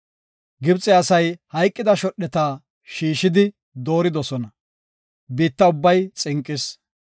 Gibxe asay hayqida shodheta shiishidi dooridosona; biitta ubbay xinqis.